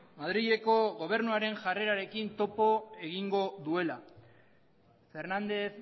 madrileko gobernuaren jarrerarekin topo egingo duela fernández